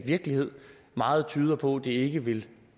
virkelighed meget tyder på at det ikke vil